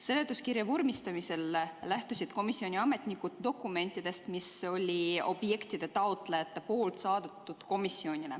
Seletuskirja vormistamisel lähtusid komisjoni ametnikud dokumentidest, mille olid objektide taotlejad komisjonile saatnud.